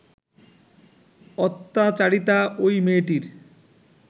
অত্যাচারিতা ওই মেয়েটির